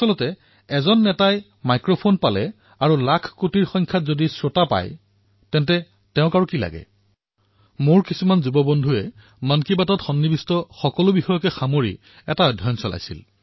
দৰাচলতে নেতাসকলে মাইক পোৱা আৰু লাখকোটিসংখ্যক শ্ৰোতা পোৱা তেওঁলোকক আৰু কি লাগে কিছুসংখ্যক যুৱ মিত্ৰই মন কী বাতৰ বিষয় সম্পৰ্কে এক অধ্যয়ন কৰিলে